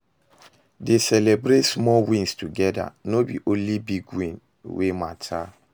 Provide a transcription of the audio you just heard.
dey celibrate small wins togeda, no be only big win wey mata